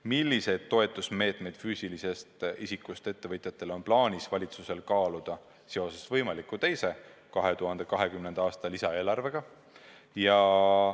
Milliseid toetusmeetmeid füüsilisest isikust ettevõtjatele on plaanis valitsusel kaaluda seoses võimaliku teise 2020. aasta lisaeelarvega?